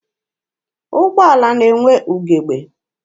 Ụgbọala na-enwe ugebe.